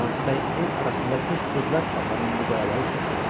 Qazı bəy el arasında 40 qızlar adlanan bu qayaları çox sevirdi.